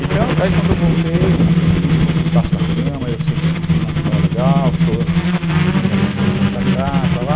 Então, daí quando eu voltei, me escondi debaixo da cama, eu senti que o clima não estava legal, minha irmã chorando para cá, para lá.